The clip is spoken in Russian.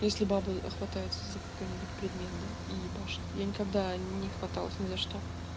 если бабы хватается за какой-нибудь предмет да и ебашит я никогда не хваталась не за что